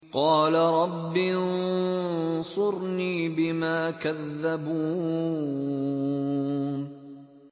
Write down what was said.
قَالَ رَبِّ انصُرْنِي بِمَا كَذَّبُونِ